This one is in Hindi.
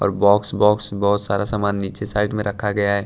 और बॉक्स बॉक्स बहुत सारा सामान नीचे साइड में रखा गया है।